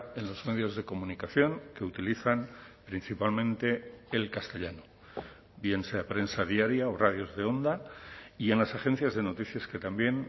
en los medios de comunicación que utilizan principalmente el castellano bien sea prensa diaria o radios de onda y en las agencias de noticias que también